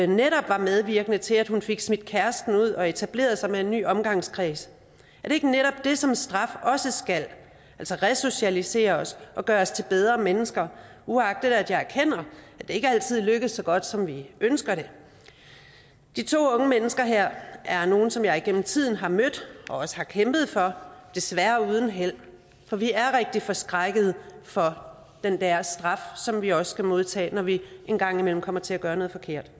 netop var medvirkende til at hun fik smidt kæresten ud og etableret sig med en ny omgangskreds er det ikke netop det som straf også skal altså resocialisere os og gøre os til bedre mennesker uagtet at jeg erkender at det ikke altid lykkes så godt som vi ønsker det de to unge mennesker her er nogle som jeg igennem tiden har mødt og også har kæmpet for desværre uden held for vi er rigtig forskrækkede for den der straf som vi også skal modtage når vi engang imellem kommer til at gøre noget forkert